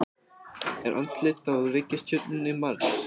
Er andlit á reikistjörnunni Mars?